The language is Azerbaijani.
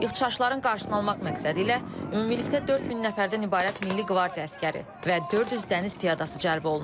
İxşşların qarşısını almaq məqsədi ilə ümumilikdə 4000 nəfərdən ibarət milli qvardiya əsgəri və 400 dəniz piyadası cəlb olunub.